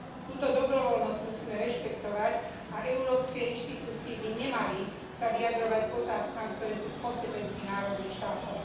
Túto dobrovoľnosť musíme rešpektovať a európske inštitúcie by nemali sa vyjadrovať k otázkam, ktoré sú v kompetencii národných štátov.